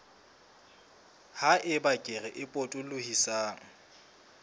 ha eba kere e potolohisang